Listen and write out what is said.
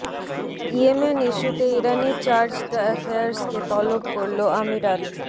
Yemen ইস্যুতে ইরানি charge the অ্যাফেয়ার্সকে তলব করল আমিরাত